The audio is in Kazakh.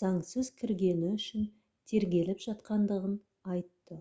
заңсыз кіргені үшін тергеліп жатқандығын айтты